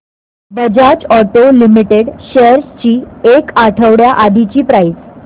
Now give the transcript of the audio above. Bajaj auto limited shares ची एक आठवड्या आधीची प्राइस